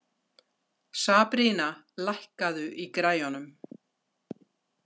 Sabrína, lækkaðu í græjunum.